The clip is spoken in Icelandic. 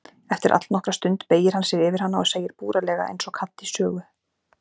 Eftir allnokkra stund beygir hann sig yfir hana og segir búralega einsog kall í sögu